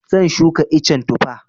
Zan shuka icen Tufa.